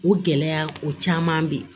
O gɛlɛya o caman be yen